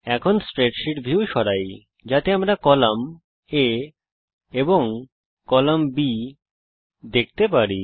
চলুন স্প্রেডশীট ভিউকে সরানো যাক যাতে আমরা কলাম A এবং B দেখতে পাই